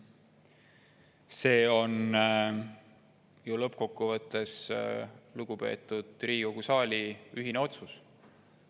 See on ju lõppkokkuvõttes lugupeetud Riigikogu saali ühine otsus.